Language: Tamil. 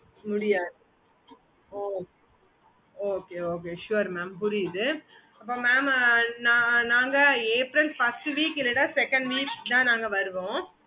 okay mam